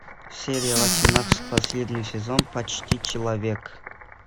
серия восемнадцать последний сезон почти человек